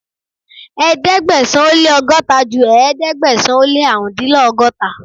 Ẹ̀ẹ́dẹ̀gbẹ̀sán ó lé ọgọ́ta ju ẹ̀ẹ́dẹ́gbẹ̀sán ó lé árùn-úndínlọ́gọ́ta